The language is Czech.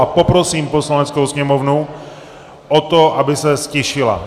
A poprosím Poslaneckou sněmovnu o to, aby se ztišila.